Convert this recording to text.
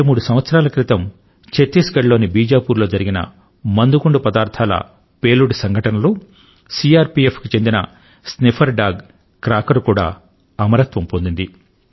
రెండు మూడు సంవత్సరాల క్రితం ఛత్తీస్గఢ్ లోని బీజాపుర్ లో జరిగిన మందుగుండు పదార్థాల పేలుడు సంఘటన లో సిఆర్ పిఎఫ్ కు చెందిన స్నిఫర్ డాగ్ క్రాకర్ కూడా అమరత్వం పొందింది